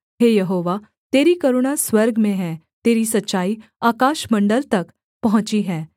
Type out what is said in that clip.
हे यहोवा तेरी करुणा स्वर्ग में है तेरी सच्चाई आकाशमण्डल तक पहुँची है